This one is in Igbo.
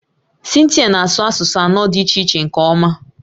Cynthia na-asụ asụsụ anọ dị iche iche nke ọma